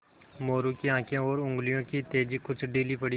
मोरू की आँखें और उंगलियों की तेज़ी कुछ ढीली पड़ी